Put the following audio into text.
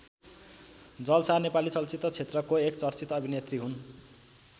जल शाह नेपाली चलचित्र क्षेत्रको एक चर्चित अभिनेत्री हुन्।